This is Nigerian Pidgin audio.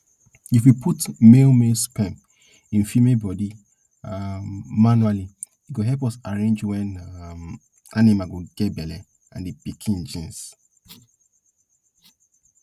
if we put male male sperm in female body um manually e go help us arrange wen um animal go get belle and the piken genes